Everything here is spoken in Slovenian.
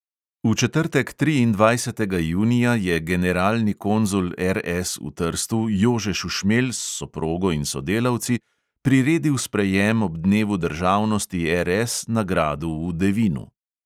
V četrtek, triindvajsetega junija, je generalni konzul RS v trstu jože šušmelj s soprogo in sodelavci priredil sprejem ob dnevu državnosti RS na gradu v devinu.